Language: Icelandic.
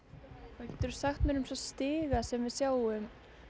hvað geturðu sagt mér um stigana sem við sjáum